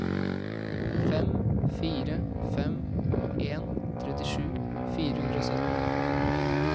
fem fire fem en trettisju fire hundre og sytten